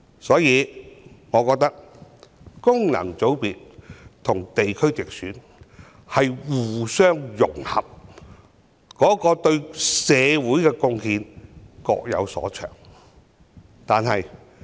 所以，我覺得功能界別和地區直選是互相融合，對社會的貢獻各有所長。